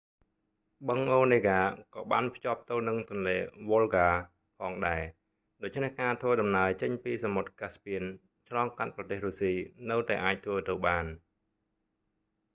បឹងអូនេហ្កា onega ក៏បានភ្ជាប់ទៅនឹងទន្លេវុលហ្កា volga ផងដែរ ដូច្នេះការធ្វើដំណើរចេញពីសមុទ្រកាស្ពៀន caspian ឆ្លងកាត់ប្រទេសរុស្ស៊ីនៅតែអាចធ្វើទៅបាន